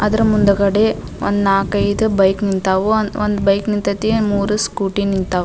ಅದ್ರ ಮುಂದಗಡೆ ಒಂದು ನಾಲ್ಕೈದ್ ಬೈಕ್ ನಿಂತಾವು ಒಂದ್ ಬೈಕ್ ನಿಂತೈತಿ ಒಂದ್ ಮೂರು ಸ್ಕೂಟಿ ನಿಂತಾವು.